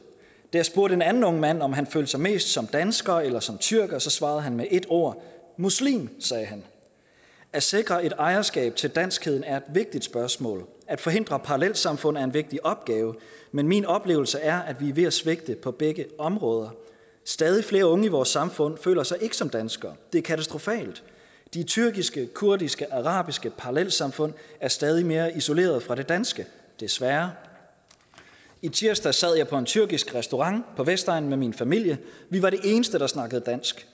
jeg spurgte en anden ung mand om han følte sig mest som dansker eller som tyrker svarede han med ét ord muslim at sikre et ejerskab til danskheden er et vigtigt spørgsmål og at forhindre parallelsamfund er en vigtig opgave men min oplevelse er at vi er ved at svigte på begge områder stadig flere unge i vores samfund føler sig ikke som danskere det er katastrofalt de tyrkiske kurdiske og arabiske parallelsamfund er stadig mere isolerede fra det danske desværre i tirsdags sad jeg på en tyrkisk restaurant på vestegnen med min familie vi var de eneste der snakkede dansk